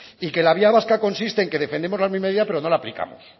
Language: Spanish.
y que la vía vasca consiste en que defendemos la misma idea pero no la aplicamos